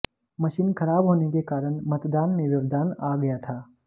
machine खराब होने के कारण मतदान में व्यवधान आ गया था